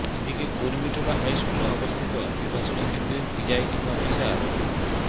এদিকে কুর্মিটোলা হাই স্কুলে অবস্থিত নির্বাচনী কেন্দ্রের প্রিজাইডিং অফিসার মো